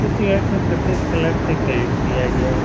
इस को सफ़ेद कलर से पेन्ट किया गया है।